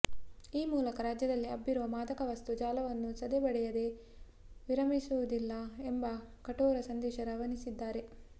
ಈ ಮೂಲಕ ರಾಜ್ಯದಲ್ಲಿ ಹಬ್ಬಿರುವ ಮಾದಕವಸ್ತು ಜಾಲವನ್ನು ಸದೆಬಡಿಯದೆ ವಿರಮಿಸುವುದಿಲ್ಲ ಎಂಬ ಕಠೋರ ಸಂದೇಶ ರವಾನಿಸಿದ್ದಾರೆ